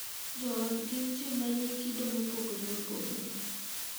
Jo ot gin ji ma nigi kido mopogore opogore,